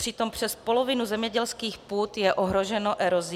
Přitom přes polovinu zemědělských půd je ohroženo erozí.